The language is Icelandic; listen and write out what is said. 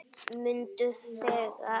Mundu þegar